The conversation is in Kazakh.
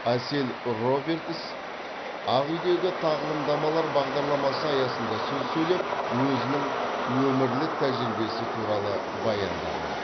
әсел робертс ақ үйдегі тағылымдамалар бағдарламасы аясында сөз сөйлеп өзінің өмірлік тәжірибесі туралы баяндаған